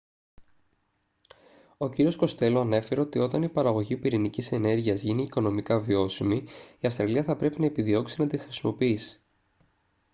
ο κύριος κοστέλο ανέφερε ότι όταν η παραγωγή πυρηνικής ενέργειας γίνει οικονομικά βιώσιμη η αυστραλία θα πρέπει να επιδιώξει να τη χρησιμοποιήσει